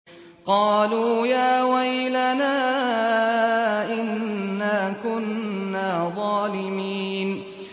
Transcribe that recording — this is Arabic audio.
قَالُوا يَا وَيْلَنَا إِنَّا كُنَّا ظَالِمِينَ